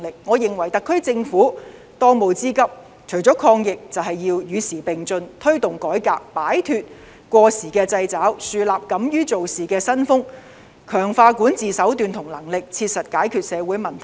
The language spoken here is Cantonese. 我認為特區政府當務之急，除了抗疫，便是要與時並進，推動改革；擺脫過時的掣肘，樹立敢於做事的新風；強化管治手段和能力，切實解決社會問題。